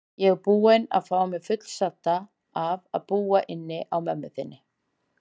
Ég er búin að fá mig fullsadda af að búa inni á mömmu þinni.